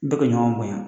Bɛɛ ka ɲɔgɔn bonya